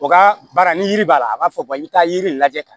O ka baara ni yiri b'a la a b'a fɔ i bɛ taa yiri lajɛ ka